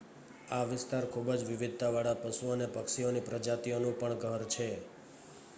આ વિસ્તાર ખુબજ વિવિધતા વાળા પશુ અને પક્ષીઓની પ્રજાતિઓનું પણ ઘર છે